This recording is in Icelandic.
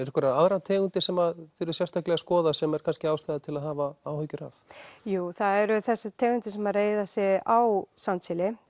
einhverjar aðrar tegundir sem þið eruð sérstaklega að skoða sem er kannski ástæða til að hafa áhyggjur af jú það eru þessar tegundir sem reiða sig á sandsíli